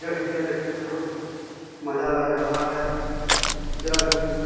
जय हिन्द यह देखने में बहुत मजा लग रहा है। जय हिन्द।